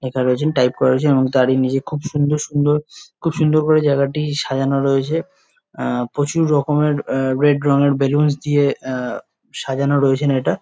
লেখা রয়েছেন। টাইপ করেছেন এবং তারই নিচে খুব সুন্দর সুন্দর খুব সুন্দর করে জায়গাটি সাজানো রয়েছে। আহ প্রচুর রকমের আহ রেড রঙের বেলুনস দিয়ে আহ সাজানো রয়েছেন এটা ।